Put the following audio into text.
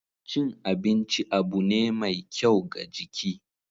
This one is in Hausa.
Cin abinci abu ne mai kyau ga jiki.